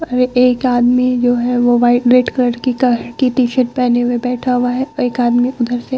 और एक आदमी जो है वो वाइट - रेड कलर की टी-शर्ट पेहने हुए बैठा हुआ है और एक आदमी उधर से --